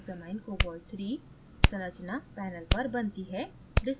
hexamminecobalt iii संरचना panel पर बनती है